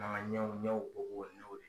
ɲɛw ɲɛw bobo n'u ye.